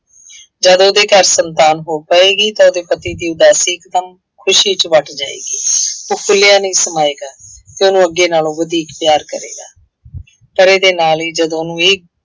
ਜਦ ਉਹਦੇ ਘਰ ਸੰਤਾਨ ਹੋ ਪਏਗੀ ਤਾਂ ਉਹਦੇ ਪਤੀ ਦੀ ਉਦਾਸੀ ਗਮ ਖੁਸ਼ੀ ਚ ਵੱਟ ਜਾਏਗੀ। ਉਹ ਫੁੱਲਿਆ ਨਹੀਂ ਸਮਾਏਗਾ ਅਤੇ ਉਹਨੂੰ ਅੱਗੇ ਨਾਲੋਂ ਵਧੀਕ ਪਿਆਰ ਕਰੇਗਾ। ਪਰ ਇਹਦੇ ਨਾਲ ਹੀ ਜਦੋਂ ਉਹਨੂੰ ਇਹ